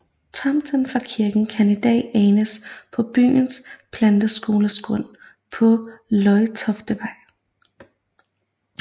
Tomten fra kirken kan i dag anes på byens planteskoles grund på Løjtoftevej